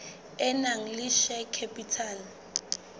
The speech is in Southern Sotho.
e nang le share capital